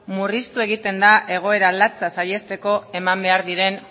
murriztu egiten da egoera latza saihesteko eman behar diren